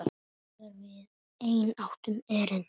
Þegar við enn áttum erindi.